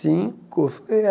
Cinco? Falei é